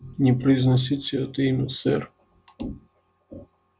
не произносите это имя сэр